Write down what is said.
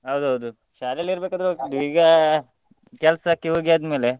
ಹೌದೌದು ಶಾಲೆಯಲ್ಲಿ ಇರ್ಬೇಕಾದ್ರೆ ಹೋಗ್ತಿದ್ವಿ ಈಗ ಕೆಲಸಕ್ಕೆ ಹೋಗಿ ಆದ್ಮೇಲೆ.